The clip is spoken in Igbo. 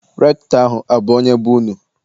Rektọ ahụ abụ onye be unu?